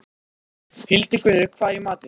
Hildigunnur, hvað er í matinn?